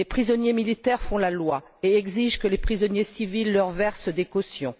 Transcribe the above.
Des prisonniers militaires font la loi et exigent que les prisonniers civils leur versent des cautions.